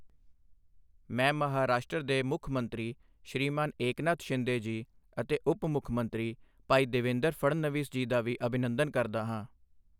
ਮੈਂ ਮਹਾਰਾਸ਼ਟਰ ਦੇ ਮੁੱਖ ਮੰਤਰੀ ਸ਼੍ਰੀਮਾਨ ਏਕਨਾਥ ਸ਼ਿੰਦੇ ਜੀ ਅਤੇ ਉਪ ਮੁੱਖ ਮੰਤਰੀ ਭਾਈ ਦੇਵੇਂਦਰ ਫਣਨਵੀਸ ਜੀ ਦਾ ਵੀ ਅਭਿਨੰਦਨ ਕਰਦਾ ਹਾਂ।